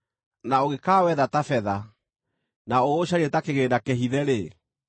na ũngĩkawetha ta betha, na ũũcarie ta kĩgĩĩna kĩhithe-rĩ,